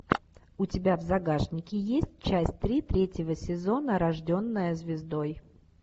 у тебя в загашнике есть часть три третьего сезона рожденная звездой